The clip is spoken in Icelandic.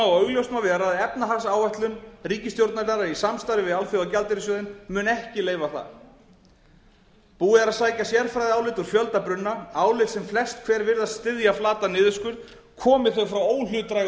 og augljóst má vera að efnahagsáætlun ríkisstjórnarinnar í samstarfi við alþjóðagjaldeyrissjóðinn mun ekki leyfa það búið er að sækja sérfræðiálit úr fjölda brunna álit sem flest hver virðast styðja flatan niðurskurð komi þau frá óhlutdrægum